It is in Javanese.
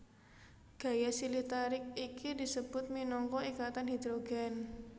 Gaya silih tarik iki disebut minangka ikatan hidrogen